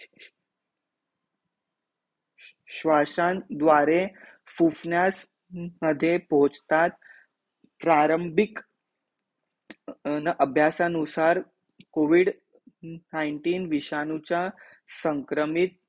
श्वासां द्वारे फुफ्ण्यास मध्ये पोचतात, प्रारंबीक अभ्यासानुसार covid nineteen विषाणू चा संक्रमित